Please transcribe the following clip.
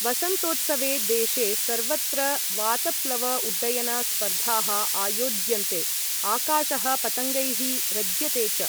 वसन्तोत्सवे देशे सर्वत्र वातप्लव उड्डयन स्पर्धाः आयोज्यन्ते, आकाशः पतङ्गैः रज्यते च।